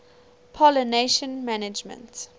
pollination management